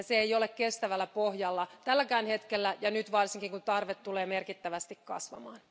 Se ei ole kestävällä pohjalla tälläkään hetkellä eikä varsinkaan, kun tarve tulee merkittävästi kasvamaan.